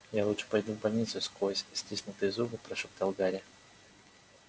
я лучше пойду в больницу сквозь стиснутые зубы прошептал гарри